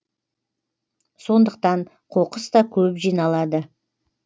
сондықтан қоқыс та көп жиналады